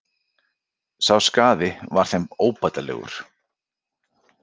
Sá skaði var þeim óbætanlegur.